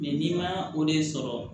n'i ma o de sɔrɔ